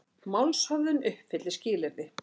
Málshöfðun uppfyllir skilyrði